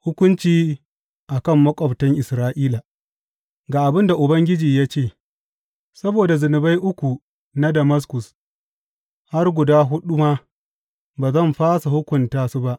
Hukunci a kan maƙwabtan Isra’ila Ga abin da Ubangiji ya ce, Saboda zunubai uku na Damaskus, har guda huɗu ma, ba zan fasa hukunta su ba.